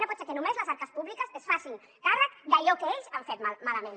no pot ser que només les arques públiques es facin càrrec d’allò que ells han fet malament